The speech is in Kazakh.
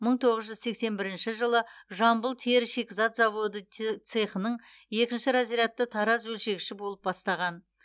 мың тоғыз жүз сексен бірінші жылы жамбыл тері шикізат заводы цехының екінші разрядты тараз өлшегіші болып бастаған